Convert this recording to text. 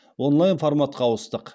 онлайн форматқа ауыстық